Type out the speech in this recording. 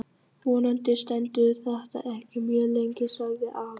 Vonandi stendur þetta ekki mjög lengi sagði afi.